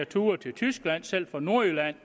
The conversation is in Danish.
ture til tyskland selv fra nordjylland